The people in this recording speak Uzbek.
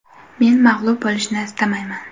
Men mag‘lub bo‘lishni istamayman.